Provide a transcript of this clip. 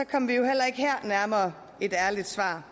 kom vi jo heller ikke her nærmere et ærligt svar